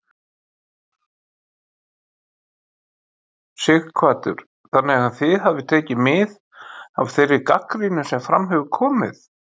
Sighvatur: Þannig að þið hafið tekið mið af þeirri gagnrýni sem fram hefur komið?